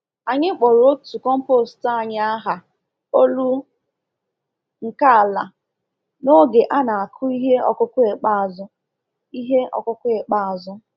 Anyị kpọrọ otu compost anyị aha “Olu nke Ala” n'oge a na-akụ ihe ọkụkụ ikpeazụ. ihe ọkụkụ ikpeazụ.